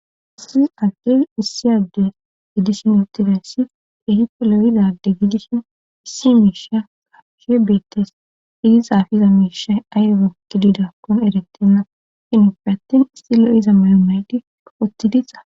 Issi anqes issi adde gidishnutirassi ehiko loyidade gidison issi miisha qashe beettes idisaafiza miisha ayoro gididakkon erettenna sinopfe attin istilo iza mayomaydi oottidisa.